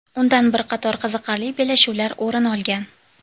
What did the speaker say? Undan bir qator qiziqarli bellashuvlar o‘rin olgan.